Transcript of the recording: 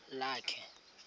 lakhe